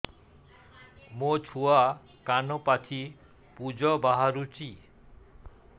ମୋ ଛୁଆ କାନ ପାଚି ପୂଜ ବାହାରୁଚି